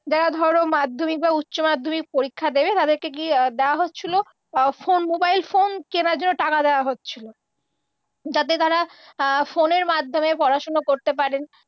যারা ধরো মাধ্যমিক বা উচ্চমাধ্যমিক পরীক্ষা দেবে, তাদেরকে কি দেওয়া হচ্ছিল? আ ফোন মোবাইল ফোন কেনার জন্য টাকা দেওয়া হচ্ছিল যাতে তারা, ফোনের মাধ্যমে পড়াশুনা করতে পারে।